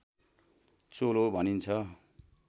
चोलो भनिन्छ